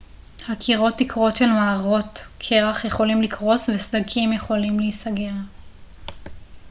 הקירות תקרות של מערות קרח יכולים לקרוס וסדקים יכולים להיסגר